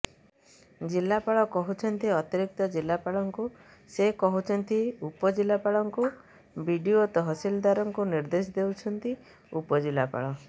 ଜିଲ୍ଲାପାଳ କହୁଛନ୍ତି ଅତିରିକ୍ତ ଜିଲ୍ଲାପାଳଙ୍କୁ ସେ କହୁଛନ୍ତି ଉପଜିଲ୍ଲାପାଳଙ୍କୁ ବିଡିଓ ତହସିଲଦାରଙ୍କୁ ନିର୍ଦେଶ ଦେଉଛନ୍ତି ଉପଜିଲ୍ଲାପାଳ